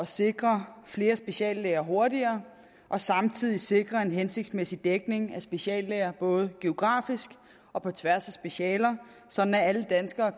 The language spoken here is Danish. sikre flere speciallæger hurtigere og samtidig sikre en hensigtsmæssig dækning med speciallæger både geografisk og på tværs af specialer sådan at alle danskere